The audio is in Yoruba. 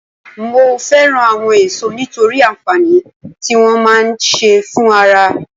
Mo fẹ́ràn àwọn èso nítorí àǹfààní tí wọ́n máa ń ṣe fún ara